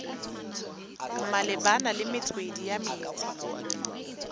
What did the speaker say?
malebana le metswedi ya metsi